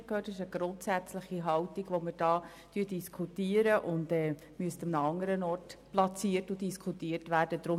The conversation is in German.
Es ist eine grundsätzliche Haltung, die wir hier diskutieren, die andernorts platziert und diskutiert werden müsste.